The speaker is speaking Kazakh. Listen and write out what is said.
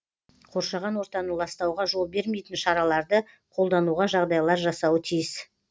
қоршаған ортаны ластауға жол бермейтін шараларды қолдануға жағдайлар жасауы тиіс